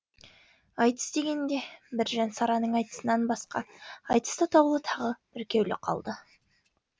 айтыс дегенде біржан сараның айтысынан басқа айтыс атаулы тағы бүркеулі қалды